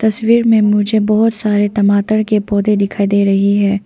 तस्वीर में मुझे बहुत सारे टमाटर के पौधे दिखाई दे रही है।